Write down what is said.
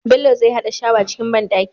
Bello zai hada shawa cikin banɗaki